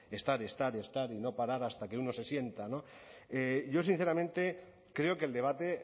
estar estar y no parar hasta que uno se sienta no yo creo sinceramente creo que el debate